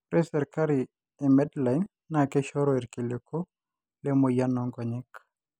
ore serkari e medline naa Keishoru irkiliku le moyian oo nkonyek